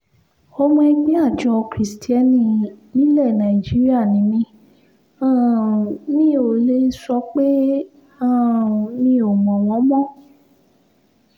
ọmọ ẹgbẹ́ àjọ kiristeni nílẹ̀ nàìjíríà ni mi um mi ò lè sọ pé um mi ò mọ̀ wọ́n mọ́